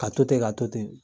Ka to ten ka to ten